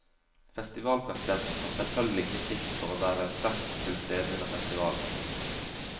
Festivalpresidenten tar selvfølgelig kritikk for å være sterkt til stede under festivalen.